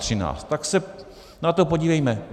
Tak se na to podívejme.